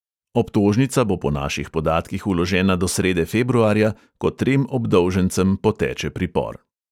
Obtožnica bo po naših podatkih vložena do srede februarja, ko trem obdolžencem poteče pripor.